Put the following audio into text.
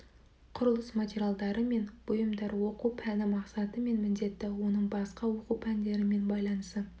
құрылыс материалдары мен бұйымдар оқу пәні мақсаты мен міндеті оның басқа оқу пәндерімен байланысы